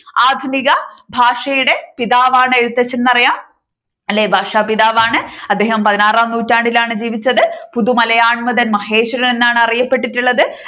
ആധുനിക ഭാഷയുടെ പിതാവാണ് എഴുത്തച്ഛൻ എന്ന് അറിയാം. അല്ലേ ഭാഷാപിതാവാണ് അദ്ദേഹം പതിനാറാം നൂറ്റാണ്ടിലാണ് ജീവിച്ചത്. പൊതു മലയാൻമതൻ മഹേശ്വരൻ എന്നാണ് അറിയപ്പെട്ടിട്ടുള്ളത്.